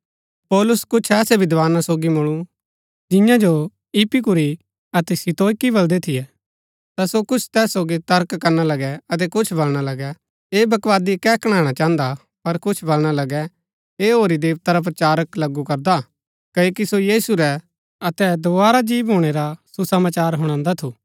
पौलुस कुछ ऐसै विद्धाना सोगी मुळु जियां जो इपिकूरी अतै स्तोईकी बलदै थियै ता सो कुछ तैस सोगी तर्क करना लगै अतै कुछ बलणा लगै ऐह बकवादी कै कणैणा चाहन्दा पर कुछ बलणा लगै ऐह होरी देवता रा प्रचारक लगू करदा क्ओकि सो यीशु रै अतै दोवारा जी भूणै रा सुसमाचार हुणान्दा थु